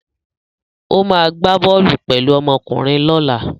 Ó máa gbá bọ́ọ́lù pẹ̀lú ọmọkùnrin lọ́la